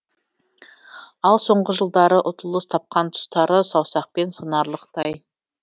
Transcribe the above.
ал соңғы жылдары ұтылыс тапқан тұстары саусақпен санаралықтай